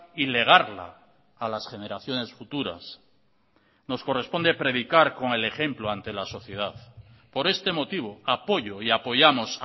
y legarla a las generaciones futuras nos corresponde predicar con el ejemplo ante la sociedad por este motivo apoyo y apoyamos